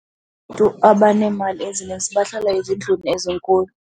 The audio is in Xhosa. Abaneemali ezininzi bahlala ezindlwini ezinkulu.